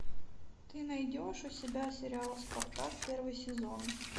ты найдешь у себя сериал спартак первый сезон